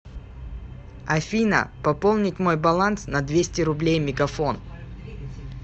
афина пополнить мой баланс на двести рублей мегафон